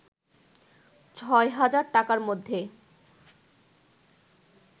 ৬০০০ টাকার মধ্যে